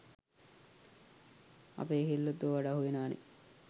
අපේ කෙල්ලොත් ඕවට අහුවෙනවනේ